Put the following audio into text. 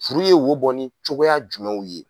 Furu ye wo bɔ ni cogoya jumɛnw ye.